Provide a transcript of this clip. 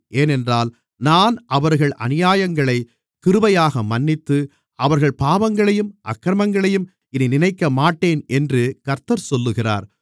ஏனென்றால் நான் அவர்கள் அநியாயங்களைக் கிருபையாக மன்னித்து அவர்கள் பாவங்களையும் அக்கிரமங்களையும் இனி நினைக்கமாட்டேன் என்று கர்த்தர் சொல்லுகிறார்